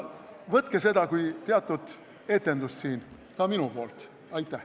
Võtke seda siin kui teatud etendust ka minu poolt!